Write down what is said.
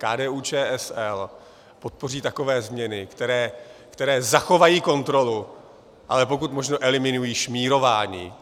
KDU-ČSL podpoří takové změny, které zachovají kontrolu, ale pokud možno eliminují šmírování.